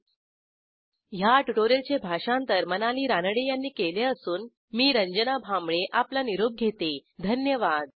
।। 1004 । ह्या ट्युटोरियलचे भाषांतर मनाली रानडे यांनी केले असून मी रंजना भांबळे आपला निरोप घेते धन्यवाद